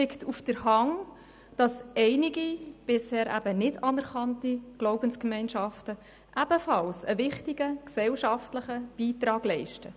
Es liegt auf der Hand, dass einige bisher nicht anerkannte Glaubensgemeinschaften ebenfalls einen wichtigen gesellschaftlichen Beitrag leisten.